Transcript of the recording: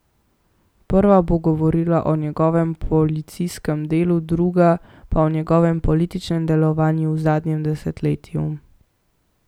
Prva bo govorila o njegovem policijskem delu, druga pa o njegovem političnem delovanju v zadnjem desetletju.